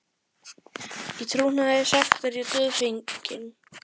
Í trúnaði sagt er ég dauðfeginn.